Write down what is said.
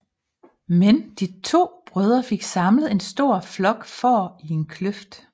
Men de to brødre fik samlet en stor flok får i en kløft